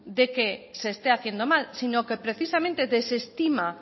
de que se esté haciendo mal sino que precisamente desestima